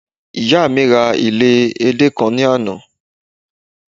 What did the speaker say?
ìyá mi ra ile ede kan ni Ana